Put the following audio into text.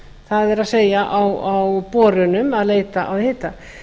það er á borunum að leita að hita